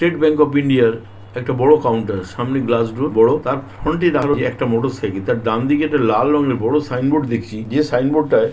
State Bank of India আরএকটা বড়ো counter সামনে গ্লাস ডর বড়োতার ফনট এ দারানো এ একটা মোটরসাইকেল তার ডানদিকের সাইন বোর্ড দেখছি যে সাইন বোর্ড -টার--